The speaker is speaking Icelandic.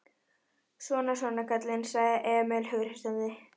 Svona, svona, kallinn, sagði Emil hughreystandi.